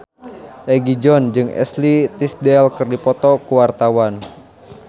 Egi John jeung Ashley Tisdale keur dipoto ku wartawan